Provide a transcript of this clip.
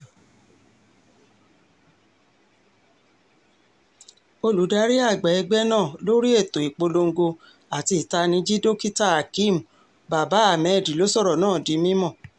olùdarí àgbà ẹgbẹ́ náà lórí ètò ìpolongo àti ìtanìjí dókítàhakeem baba- hamed ló sọ̀rọ̀ náà di mímọ́